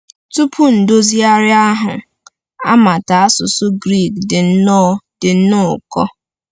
Tupu Ndozigharị ahụ, amata asụsụ Grik dị nnọọ dị nnọọ ụkọ.